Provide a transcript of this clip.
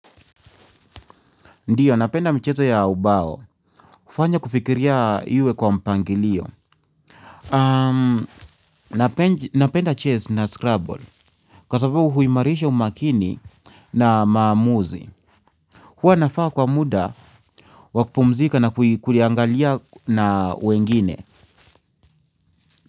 Ndiyo napenda michezo ya ubao hufanya kufikiria iwe kwa mpangilio na penda chess na scrabble kwa sababu huimarisha umakini na maamuzi huwa nafaa kwa muda wakupumzika na kuliangalia na wengine.